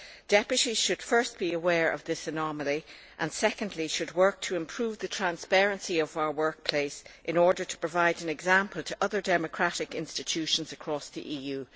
Members should firstly be aware of this anomaly and secondly should work to improve the transparency of our workplace in order to provide an example to other democratic institutions across the EU.